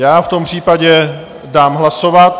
Já v tom případě dám hlasovat.